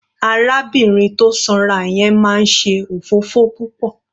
Arábìnrin tó sanra yẹn máa ń ṣe òfófó púpọ̀.